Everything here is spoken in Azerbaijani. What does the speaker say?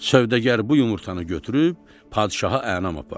Sövdəgar bu yumurtanı götürüb padşaha ənam apardı.